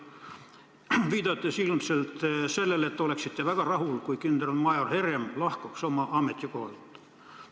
Te viitasite ilmselt sellele, et oleksite väga rahul, kui kindralmajor Herem lahkuks oma ametikohalt.